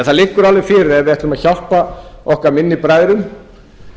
það liggur alveg fyrir að ef við ætlum að hjálpa okkar minnstu bræðrum